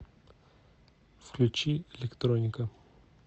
включи электроника